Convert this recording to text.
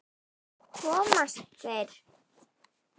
Komast þeir???